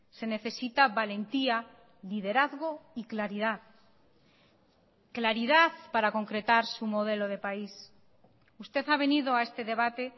se necesita valentía liderazgo y claridad claridad para concretar su modelo de país usted ha venido a este debate